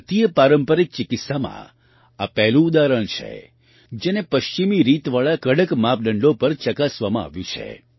ભારતીય પારંપરિક ચિકિત્સામાં આ પહેલું ઉદાહરણ છે જેને પશ્ચિમી રીતવાળા કડક માપદંડો પર ચકાસવામાં આવ્યું છે